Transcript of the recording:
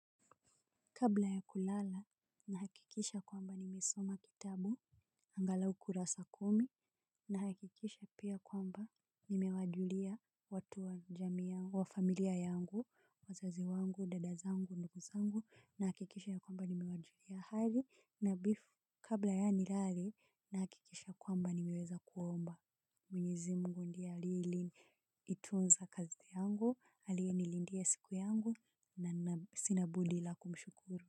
Kabla ya kulala, nahakikisha kwamba nimesoma kitabu, angalau kurasa kumi, nahakikisha pia kwamba nimewajulia watu wa familia yangu, wazazi wangu, dada zangu, ndugu zangu, nahakikisha ya kwamba nimewajulia hali na bifu kabla ya nilale, nahakikisha kwamba nimeweza kuomba. Mwenyezi mungu ndie alie liitunza kazi yangu alie nilindia siku yangu na sina budi la kumshukuru.